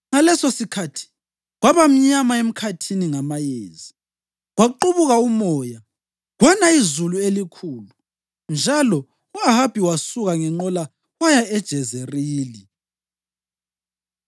Ngalesosikhathi, kwaba mnyama emkhathini ngamayezi, kwaqubuka umoya, kwana izulu elikhulu njalo u-Ahabi wasuka ngenqola waya eJezerili.